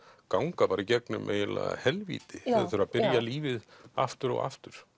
ganga bara í gegnum eiginlega helvíti þeir þurfa að byrja lífið aftur og aftur